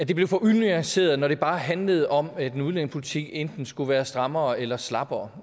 det blev for unuanceret når det bare handlede om at en udlændingepolitik enten skulle være strammere eller slappere